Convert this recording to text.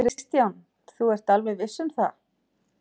Kristján: Þú ert alveg viss um það?